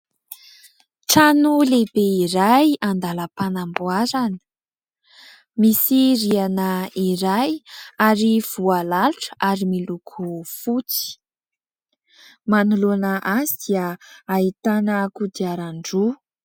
Trano lehibe iray andalam-panamboarana. Misy rihana iray ary voalalotra ary miloko fotsy. Manoloana azy dia ahitana kodiaran-droa.